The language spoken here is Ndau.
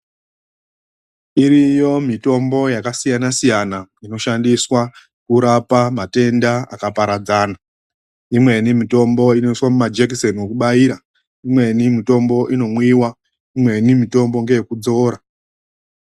Iriyo mitombo yakasiyana siyana inoshandiswa kurapa matenda akaparadzana .lmweni mitombo inoiswa mumajekiseni ekubaira, imweni mitombo inomwiwa , imweni mitombo ndeyekudzora.